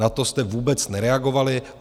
Na to jste vůbec nereagovali.